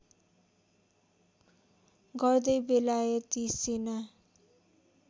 गर्दै बेलायती सेना